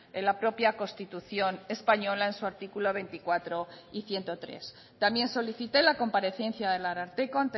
en la propia constitución española en su artículo veinticuatro y ciento tres también solicite la comparecencia del ararteko